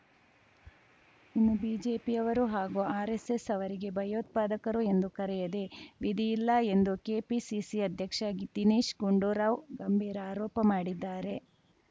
ಇನ್ನು ಬಿಜೆಪಿಯವರು ಹಾಗೂ ಆರ್‌ಎಸ್‌ಎಸ್‌ ಅವರಿಗೆ ಭಯೋತ್ಪಾದಕರು ಎಂದು ಕರೆಯದೆ ವಿಧಿಯಿಲ್ಲ ಎಂದು ಕೆಪಿಸಿಸಿ ಅಧ್ಯಕ್ಷ ದಿನೇಶ್‌ ಗುಂಡೂರಾವ್‌ ಗಂಭೀರ ಆರೋಪ ಮಾಡಿದ್ದಾರೆ